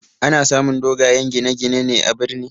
Ana samu dogayen gine gine ne a birni